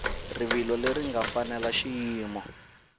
rivilo leri nga fanela xiyimo